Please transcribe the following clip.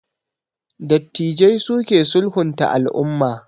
Dattijai su ke sulhunta al'umma